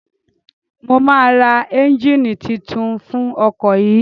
Mo máa ra ẹ́njíìnì titun fún ọkọ̀ yìí.